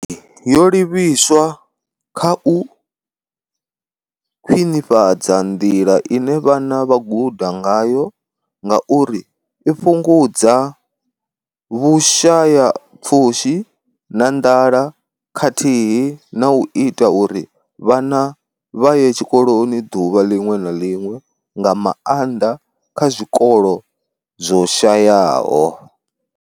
Yo livhiswa kha u khwinifhadza nḓila ine vhana vha guda ngayo ngauri i fhungudza vhushayapfushi na nḓala khathihi na u ita uri vhana vha ye tshikoloni ḓuvha ḽiṅwe na ḽiṅwe, nga maanḓa kha zwikolo zwo shayaho.